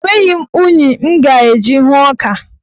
Enweghị m unyi m ga-eji hụọ ọka.